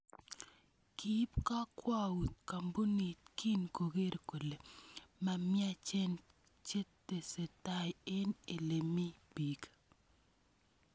Kiib kakwaut koombunit kin kokeer kole mamiaachen chetesetaai eng ele mi biik